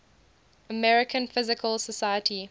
american physical society